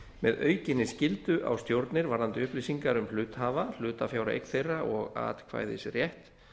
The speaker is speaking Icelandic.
með aukinni skyldu á stjórnir varðandi upplýsingar um hluthafa hlutafjáreign þeirra og atkvæðisrétt